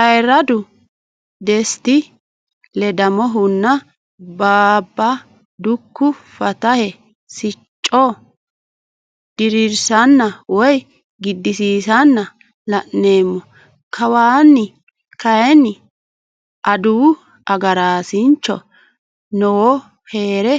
Ayiradu desiti ledamohunna baaba duku fantaye sicco dirisanna woyi gidisiisanna la'neemo, kawanni kayinni adawu agarasinch noowo heere